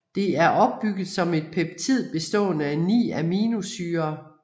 Det er opbygget som et peptid bestående af ni aminosyrer